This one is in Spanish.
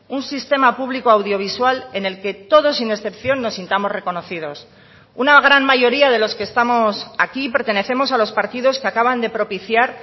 un sistema público audiovisual en el que todos sin excepción nos sintamos reconocidos una gran mayoría de los que estamos aquí pertenecemos a los partidos que acaban de propiciar